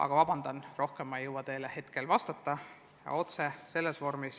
Aga vabandust, rohkem ma teile otse rääkida ei saa.